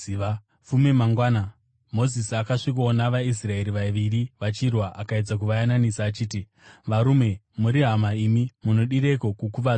Fume mangwana Mozisi akasvikowana vaIsraeri vaviri vachirwa. Akaedza kuvayananisa achiti, ‘Varume, muri hama imi; munodireiko kukuvadzana?’